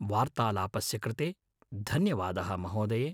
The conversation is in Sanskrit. वार्तालापस्य कृते धन्यवादः महोदये!